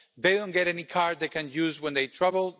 They don't get any card they can use when they travel.